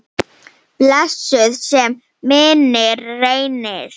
Blessuð sé minning Reynis.